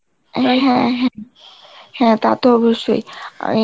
হ্যাঁ হ্যাঁ, হ্যাঁ তা তো অবশ্যই, আমি